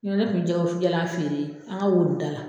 Nɔ tɛ ne kun bɛ jɛgɛ wusu jalan feere an ka wonida la.